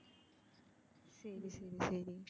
சரி சரி.